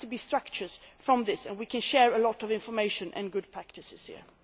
There have to be structures from this and we can share a lot of information and good practices here.